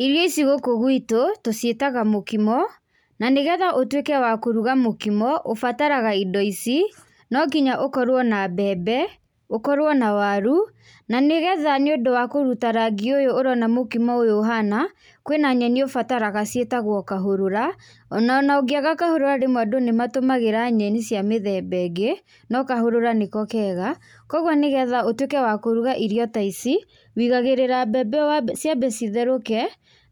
Irio ici gũkũ gwitũ tũciĩtaga mũkimo na nĩgetha ũtwĩke wa kũruga mũkimo, ũbataraga indo ici, nonginya ũkorwo na mbembe ũkorwo na waru na nĩgetha nĩũndũ wa kũruta rangi ũyũ ũrona mũkimo ũyũ ũhana, kwĩna nyeni ũbataraga ciĩtagwo kahũrũra ona na ũngĩaga kahũrũra rĩmwe andũ nĩmatũmagĩra nyeni cia mĩthemba ĩngĩ no kahũrũra nĩko kega kwoguo nĩgetha ũtuĩke wa kũruga irio ta ici wigagĩrĩra mbebe wambe ciambe citherũke